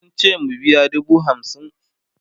sun ce mu biya dubu hamsin